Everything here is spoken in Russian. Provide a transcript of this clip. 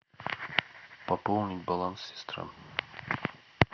пополнить баланс сестры